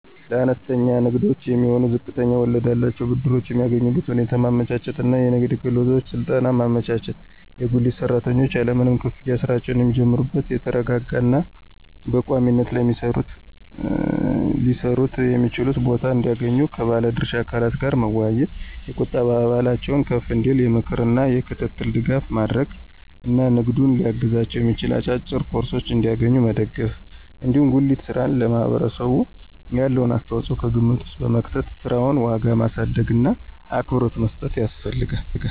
ለአነስተኛ ንግዶች የሚሆኑ ዝቅተኛ ወለድ ያላቸውን ብድሮች የሚያገኙበትን ሁኔታ ማመቻቸት እና የንግድ ክህሎት ስልጠና ማመቻቸት፣ የጉሊት ሰራተኞች ያለምንም ክፍያ ሥራቸውን የሚጀምሩበት የተረጋጋ እና በቋሚነት ሊሰሩበት የሚችሉበትን ቦታ እንዲያገኙ ከባለ ድርሻ አካላት ጋር መወያየት፣ የቁጠባ ባህላቸው ከፍ እንዲል የምክር እና የክትትል ድጋፍ ማድረግ እና ንግዱን ሊያግዛቸው የሚችል አጫጭር ኮርሶችን እንዲያገኙ መደገፍ ነው። እንዲሁም የጉሊት ሥራ ለማህበረሰቡ ያለውን አስተዋጽኦ ከግምት ውስጥ በመክተት የሥራውን ዋጋ ማሳደግእና አክብሮት መስጠት ያስፈልጋል።